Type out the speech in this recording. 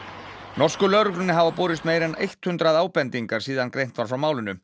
norsku lögreglunni hafa borist meira en hundrað ábendingar síðan greint var frá málinu